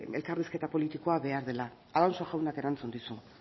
elkarrizketa politikoa behar dela alonso jaunak erantzun dizu